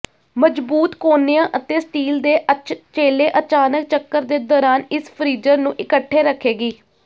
ਮਜਬੂਤ ਕੋਨਿਆਂ ਅਤੇ ਸਟੀਲ ਦੇ ਅਚਛੇਲੇ ਅਚਾਨਕ ਚੱਕਰ ਦੇ ਦੌਰਾਨ ਇਸ ਫਰੀਜ਼ਰ ਨੂੰ ਇਕੱਠੇ ਰੱਖੇਗੀ